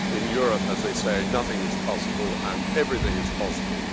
In Europe, as they say, nothing is possible and everything is possible.